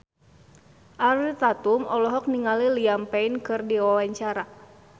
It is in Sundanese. Ariel Tatum olohok ningali Liam Payne keur diwawancara